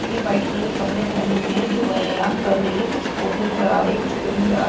--ज ने white colour के कपडे पहने हुए है जो व्यायाम कर रही है कुछ पौधे नज़र आ रहे है कुछ पेड़ नज़र आ--